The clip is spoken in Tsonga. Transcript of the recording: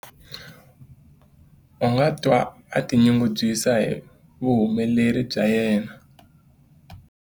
A nga twa a tinyungubyisa hi vuhumeleri bya yena.